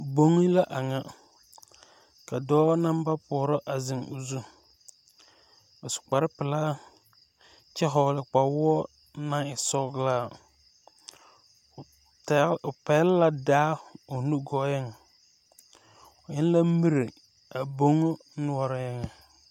Boŋe la a ŋa ka dɔɔ naŋ ba pɔɔrɔ a zeŋ o zu a su kparepelaa kyɛ hɔgle kpawoɔ naŋ e sɔglaa o taa o pɛgle la daa o nu gɔɔŋ o eŋ la miri a boŋ noɔreŋ.